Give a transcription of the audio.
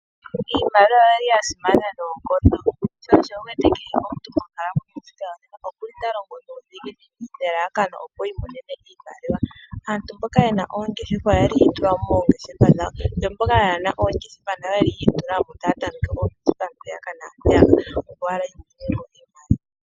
Iimaliwa oyili yasimana noonkondo .Sho wuwete kehe omuntu monkalamwenyo oyeli talongo nuudhiginini nelalakano opo yi imonene iimaliwa. Aantu mboka yena oongeshefa oyeli yi itula mo moongeshefa dhawo yo mboka ka yena oongeshefa oyeli yi itula mo taa tameke oongeshefa mpaka na peyaka.